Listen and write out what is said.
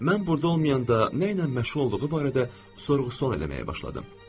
Mən burda olmayanda nə ilə məşğul olduğu barədə sorğu-sual eləməyə başladım.